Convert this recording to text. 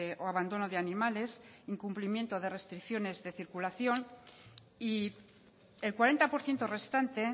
o abandono de animales incumplimiento de restricciones de circulación y el cuarenta por ciento restante